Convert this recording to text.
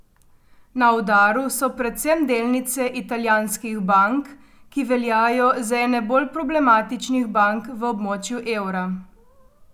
Na udaru so predvsem delnice italijanskih bank, ki veljajo za ene bolj problematičnih bank v območju evra.